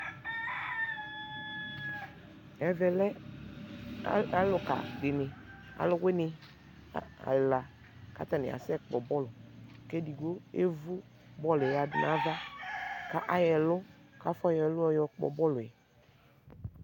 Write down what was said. ɛvɛ lɛ alʋka di, alʋwini ɛla kʋ atani asɛ kpɔ bɔlʋ kʋ ɛdigbɔ ɛvʋ bɔlʋɛ yadʋ nʋ aɣa kʋ ayɔ ɛlʋ kʋ aƒɔ yɔ ɛlʋ ɔkpɔ bɔlʋɛ